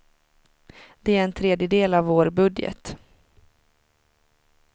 Det är en tredjedel av vår budget.